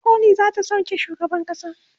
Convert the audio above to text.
kotun koli zata sauke shugaban kasan